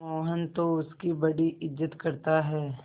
मोहन तो उसकी बड़ी इज्जत करता है